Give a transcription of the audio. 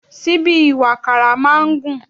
Síbí ìwàkàrà máa ń gùn